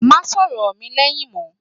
Má sọ̀rọ̀ mi lẹ́yìn mọ́!